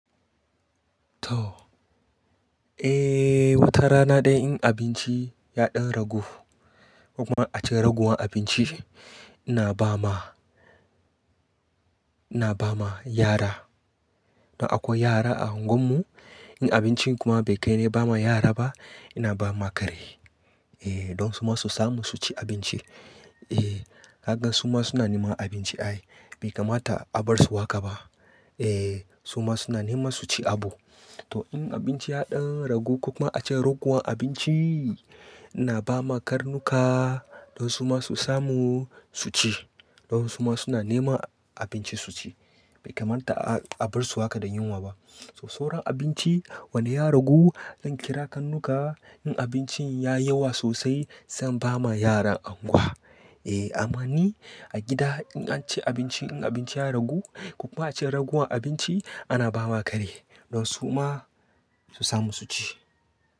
To. Eh, watar rana dai in abinci ya ɗan ragu ko kuma a ce raguwan abinci ina ba ma, ina ba ma yara. Don akwai yara a unguwar mu. In abincin kuma bai kai na ba ma yara ba, ina ba ma kare. Eh, don su ma su samu su ci abinci. Eh, ka gan su ma suna neman abinci ai. Bai kamata a bar su haka ba. Eh, su ma suna nema su ci abu. To in abinci ya ɗan ragu ko kuma a ce raguwan abinci ina ba ma karnuka don su ma su samu su ci. Don su ma suna nema abinci su ci. Bai kamata a bar su haka da yunwa ba. So sawran abinci wane ya ragu zan kira karnuka. In abincin yayi yawa sosai zan ba ma yaran unguwa. Eh, amma ni a gida in an ci abinci in abinci ya ragu ko kuma a ce raguwan abinci ana ba ma kare don su ma su samu su ci.